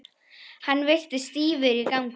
Hann virtist stífur í gangi.